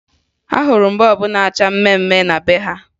Ahụrụ m bọọbụ na-acha mmemme na be ha